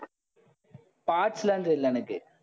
parts லாம் தெரியலே எனக்கு